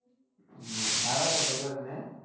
হম ভাড়া কত করে নেয়?